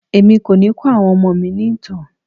Èmi kò ni kọ àwọn ọmọ mi ìtàn.